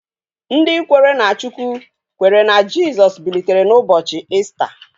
Ndị kwere na Chukwu kwetere na Jisọs bilitere n'ụbọchị Ista